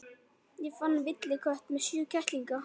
Ég fann villikött með sjö kettlinga.